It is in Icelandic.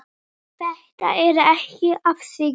Þetta er ekki að sigra.